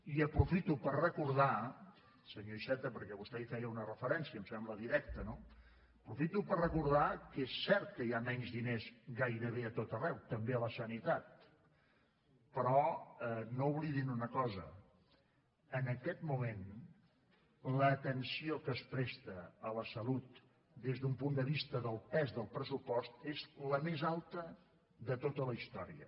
i aprofito per recordar senyor iceta perquè vostè hi feia una referència em sembla directa no aprofito per recordar que és cert que hi ha menys diners gairebé a tot arreu també a la sanitat però no oblidin una cosa en aquest moment l’atenció que es presta a la salut des d’un punt de vista del pes del pressupost és la més alta de tota la història